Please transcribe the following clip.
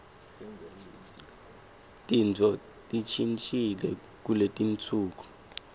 tintfo tishintjile kuletinsuku